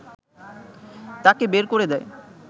তাকে বের করে দেয়